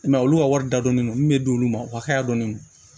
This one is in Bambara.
I m'a ye olu ka wari da dɔɔnin don min bɛ d'olu ma o hakɛya dɔɔni